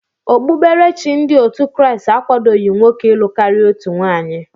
Okpukperechi ndị otu Kraịst akwadoghi nwoke ilụ karịa otu nwaanyị.